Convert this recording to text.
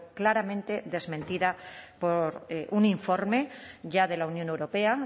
claramente desmentida por un informe ya de la unión europea